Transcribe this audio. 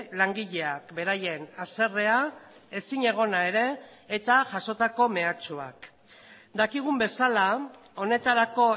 langileak beraien haserrea ezinegona ere eta jasotako mehatxuak dakigun bezala honetarako